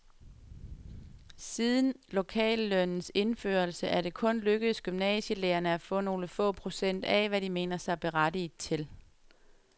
Siden lokallønnens indførelse er det kun lykkedes gymnasielærerne at få nogle få procent af, hvad de mener sig berettiget til.